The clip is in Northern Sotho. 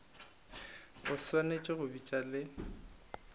o swanetše go bitša le